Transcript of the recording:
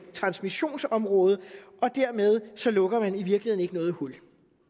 transmissionsområde og dermed lukker man i virkeligheden noget hul